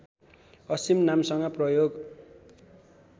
असिम नामसँग प्रयोग